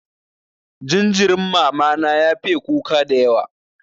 Jinjirin mama na ya fiye kuka dayawa.